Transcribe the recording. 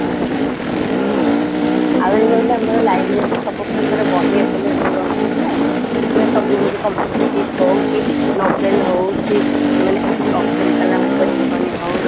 ଆଜ୍ଞା ଆଉ ଇଏ ଆମର ରହିଲା library ରେ ସବୁପ୍ରକାର ବହି available ରହୁଛି ନୁହେଁ ସେ ସବୁ କିଛି competitive ହଉ କି Novel ହଉ କି ମାନେ ଅବଦୁଲ କାଲାମଙ୍କ ଯିବନି ହଉ